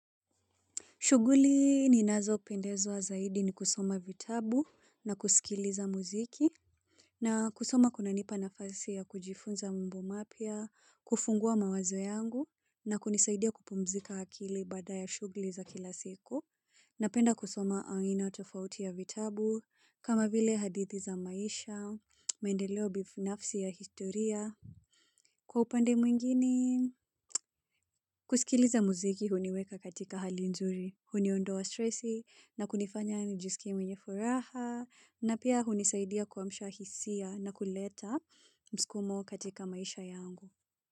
Shughuli ninazopendezwa zaidi ni kusoma vitabu na kusikiliza muziki. Na kusoma kunanipa nafasi ya kujifunza mambo mapya, kufungua mawazo yangu na kunisaidia kupumzika akili baada ya shughuli za kila siku. Napenda kusoma aina tofauti ya vitabu, kama vile hadithi za maisha, maendeleo binafsi ya historia. Kwa upande mwingine? Kusikiliza muziki huniweka katika hali nzuri, huniondoa stresi na kunifanya nijiskie mwenye furaha na pia hunisaidia kuamsha hisia na kuleta mskumo katika maisha yangu.